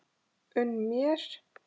Unn mér!